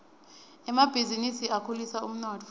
emabhizinisi akhulisa umnotfo